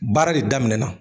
Baara de daminɛna